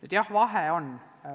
Aga jah, vahe on.